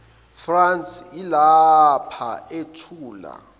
france yilapha ethula